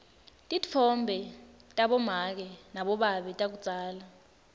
titfombe tabomake nabobabe takudzala